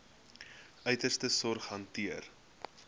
uiterste sorg hanteer